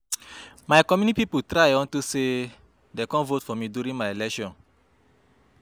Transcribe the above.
My community people try unto say dey come vote for me during my election